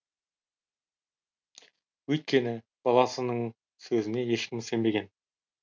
өйткені баласының сөзіне ешкім сенбеген